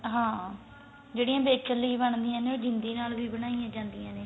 ਹਾਂ ਜਿਹੜੀਆਂ ਵੇਚਣ ਲਈ ਬਣਦੀਆਂ ਨੇ ਉਹ ਜਿੰਦੀ ਨਾਲ ਵੀ ਬਣਾਇਆ ਜਾਂਦੀਆਂ ਨੇ